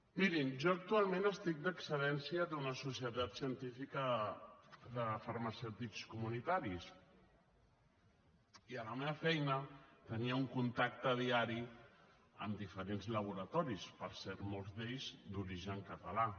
mirin jo actualment estic d’excedència d’una societat científica de farmacèutics comunitaris i a la meva feina tenia un contacte diari amb diferents laboratoris per cert molts d’ells d’origen català